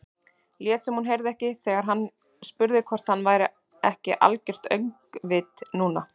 Lét sem hún heyrði ekki þegar hann spurði hvort hann væri ekki algert öngvit núna.